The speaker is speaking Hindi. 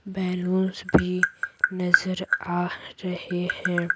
बैलूंस भी नजर आ रहे हैं।